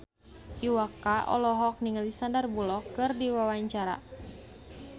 Iwa K olohok ningali Sandar Bullock keur diwawancara